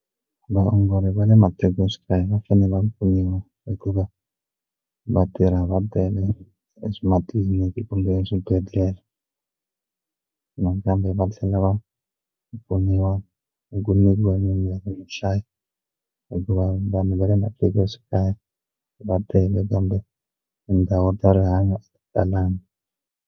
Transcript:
Vaongori va le matikoxikaya va fanele va pfuniwa hikuva va tirha va bele ematliliniki kumbe swibedhlele nakambe va tlhela va va pfuniwa ni ku nyikiwa mimirhi hi nhlayo hikuva vanhu va le matikoxikaya va tele kambe tindhawu ta rihanyo a ti talangi.